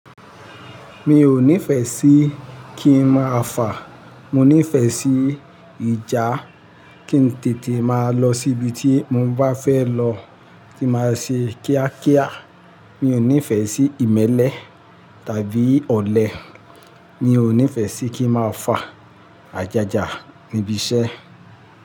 Mi ò nífẹ̀ẹ́ sí kí ń máa fà. Mo nífẹ̀ẹ́ sí ìjà, kí n tètè máa lọ síbi tí mo bá fẹ́ lọ, kí n máa ṣe kíákíá. Mi ò nífẹ̀ẹ́ sí ìmẹ́lẹ́ tàbí ọ̀lẹ. Mi ò nífẹ̀ẹ́ sí kí ń máa fà ajaja níbi iṣẹ́.